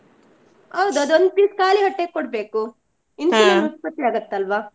ಹೌದ್ ಅದು ಒಂದು piece ಕಾಲಿ ಹೊಟ್ಟೆಗ್ ಕೊಡ್ಬೇಕು, ಉತ್ಪತ್ತಿ ಆಗುತ್ತೆ ಅಲ್ವಾ.